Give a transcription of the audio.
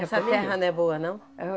Essa terra não é boa, não? Eu